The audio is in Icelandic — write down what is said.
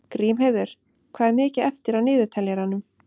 Grímheiður, hvað er mikið eftir af niðurteljaranum?